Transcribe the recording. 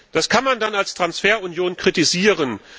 Das kann man als Transferunion kritisieren.